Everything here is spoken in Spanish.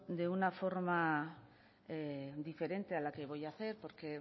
de una forma diferente a la que voy a hacer porque